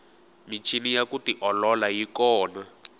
michini ya ku tiolola yi kona